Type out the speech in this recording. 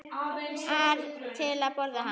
ar til að borða hana.